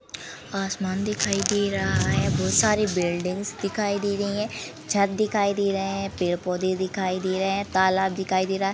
आसमान दिखाई दे रहा है बहोत सारे बिल्डिंग्स दिखाई दे रही हैं छत दिखाई दे रहे हैं पेड़-पौधे दिखाई दे रहे हैं तालाब दिखाई दे रहा है।